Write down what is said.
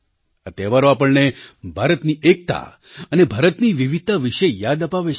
આ તહેવારો આપણને ભારતની એકતા અને ભારતની વિવિધતા વિશે યાદ અપાવે છે